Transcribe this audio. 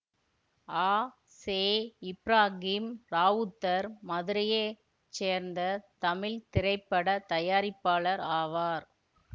அ செ இப்ராகிம் இராவுத்தர் மதுரையை சேர்ந்த தமிழ் திரைப்பட தயாரிப்பாளர் ஆவார்